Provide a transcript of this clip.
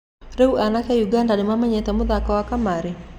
Rĩũ anake Ũganda nĩmamenyerete mũthako wa kamarĩ?